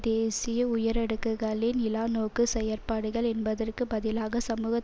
தேசிய உயரடுக்குகளின் இலா நோக்கு செயற்பாடுகள் என்பதற்கு பதிலாக சமூக